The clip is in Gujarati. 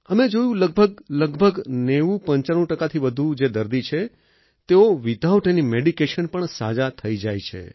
અમે જોયું લગભગ લગભગ 9095 ટકા થી વધુ જે દર્દી છે તેઓ વિથઆઉટ આઇએન મેડિકેશન પણ સાજા થઈ જાય છે